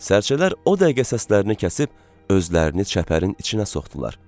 Sərçələr o dəqiqə səslərini kəsib özlərini çəpərin içinə soxdular.